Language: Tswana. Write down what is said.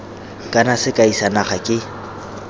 kana sekai sa naga ke